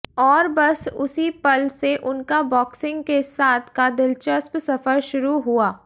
और बस उसी पल से उनका बॉक्सिंग के साथ का दिलचस्प सफर शुरू हुआ